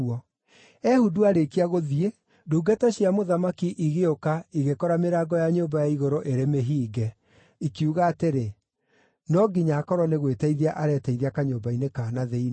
Ehudu aarĩkia gũthiĩ, ndungata cia mũthamaki igĩũka igĩkora mĩrango ya nyũmba ya igũrũ ĩrĩ mĩhinge, ikiuga atĩrĩ, “No nginya akorwo nĩ gwĩteithia areteithia kanyũmba-inĩ ka na thĩinĩ.”